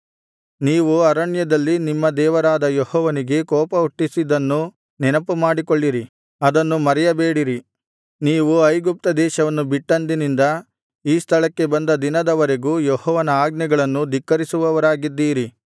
ನೀವು ಅರಣ್ಯದಲ್ಲಿ ನಿಮ್ಮ ದೇವರಾದ ಯೆಹೋವನಿಗೆ ಕೋಪಹುಟ್ಟಿಸಿದ್ದನ್ನು ನೆನಪುಮಾಡಿಕೊಳ್ಳಿರಿ ಅದನ್ನು ಮರೆಯಬೇಡಿರಿ ನೀವು ಐಗುಪ್ತದೇಶವನ್ನು ಬಿಟ್ಟಂದಿನಿಂದ ಈ ಸ್ಥಳಕ್ಕೆ ಬಂದ ದಿನದವರೆಗೂ ಯೆಹೋವನ ಆಜ್ಞೆಗಳನ್ನು ಧಿಕ್ಕರಿಸುವವರಾಗಿದ್ದೀರಿ